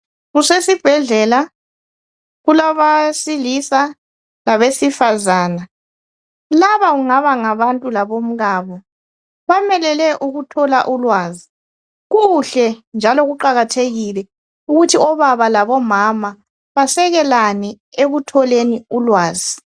Kusesibhedlela. Kulabesilisa labesifazana. Laba kungaba ngabantu labomkabo. Bamelele ukuthola ulwazi. Kuhle njalo kuqakathekile ukuthi obaba labomama basekelane ekutholeni ulwazi.